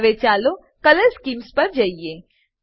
હવે ચાલો colour schemes પર જઈએ